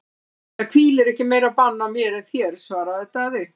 Það hvílir ekki meira bann á mér en þér, svaraði Daði.